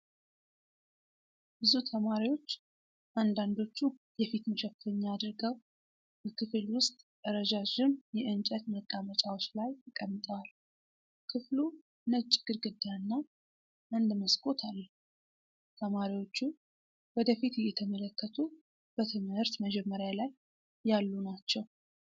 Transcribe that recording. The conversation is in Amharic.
ብዙ ተማሪዎች፣ አንዳንዶቹ የፊት መሸፈኛ አድርገው፣ በክፍል ውስጥ ረዣዥም የእንጨት መቀመጫዎች ላይ ተቀምጠዋል። ክፍሉ ነጭ ግድግዳና አንድ መስኮት አለው። ተማሪዎቹ ወደ ፊት እየተመለከቱ በትምህርት መጀመርያ ላይ ያሉ ናቸው።